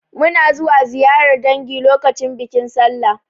Muna zuwa ziyarar dangi lokacin bikin Sallah.